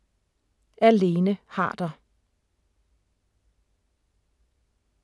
Af Lene Harder